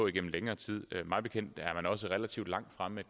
igennem længere tid mig bekendt er også relativt langt fremme med